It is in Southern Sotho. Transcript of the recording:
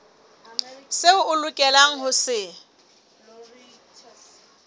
seo o lokelang ho se